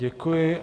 Děkuji.